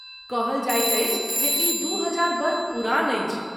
कहल जाइत अछि जे ई दू हजार वर्ष पुरान अछि।